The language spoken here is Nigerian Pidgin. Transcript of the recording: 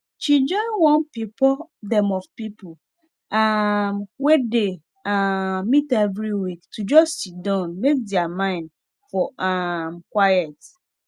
she join one pipo dem of people um wey dey um meet every week to just siddon make their mind for um quiet